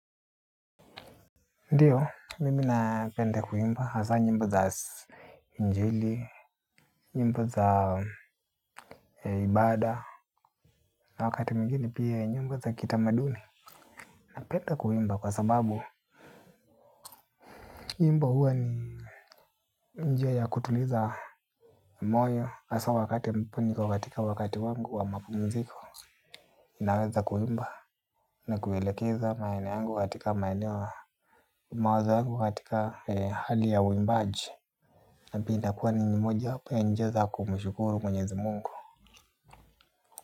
Ndiyo, mimi napenda kuimba hasa nyimbo za injili, njimbo za ibada, na wakati mwingine pia nyimbo za kitamaduni. Napenda kuwmba kwa sababu, nyimbo huwa ni njia ya kutuliza moyo, hasa wakati mpu nipo katika wakati wangu wa mapumziko. Ninaweza kuimba na kuelekeza maenep yangu katika maeneo mawazo yangu katika hali ya uimbaji. Napenda kwani ni moja hapa ya njia za kumshukuru mwenye za mungu.